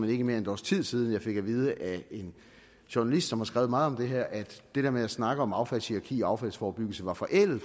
ikke mere end et års tid siden at jeg fik at vide af en journalist som har skrevet meget om det her at det der med at snakke om affaldshierarki og affaldsforebyggelse var forældet